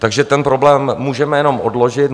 Takže ten problém můžeme jenom odložit.